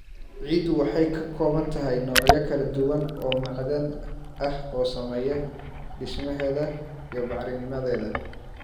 Ciiddu waxay ka kooban tahay noocyo kala duwan oo macdan ah oo saameeya dhismaheeda iyo bacrinnimadeeda.